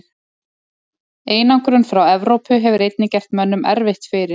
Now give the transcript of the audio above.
Einangrun frá Evrópu hefur einnig gert mönnum erfitt fyrir.